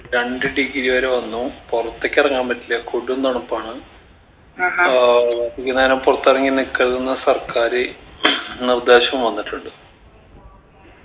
രണ്ട് degree വരെ വന്നു പൊറത്തെക്ക് എറങ്ങാൻ പറ്റില്ല കൊടും തണുപ്പാണ് ആഹ് അധിക നേരം പൊറത്തെറങ്ങി നിക്കരിതിന്ന് സർക്കാര് നിർദ്ദേശം വന്നിട്ടുണ്ട്